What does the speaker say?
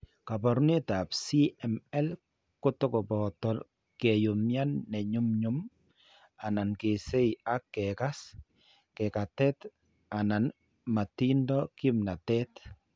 Kaabarunetap CML ko to koboto ke umian ne ny'umny'um anan kesay ak kekas keng'etat anan matindo kimnatet.